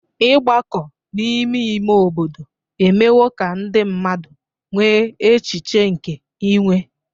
Ịgbakọ n'ime ime obodo emewo ka ndị mmadụ nwee echiche nke inwe.